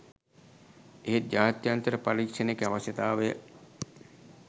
එහෙත් ජාත්‍යන්තර පරීක්ෂණයක අවශ්‍යතාවය